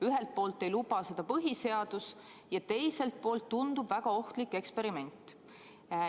Ühelt poolt ei luba seda põhiseadus ja teiselt poolt tundub see väga ohtliku eksperimendina.